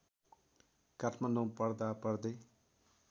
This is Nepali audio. काठमाडौँ पढ्दा पढ्दै